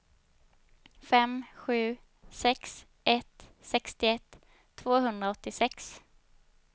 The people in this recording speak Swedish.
fem sju sex ett sextioett tvåhundraåttiosex